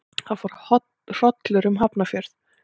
Það fór hrollur um Hafnarfjörð.